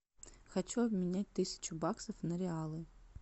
хочу обменять тысячу баксов на реалы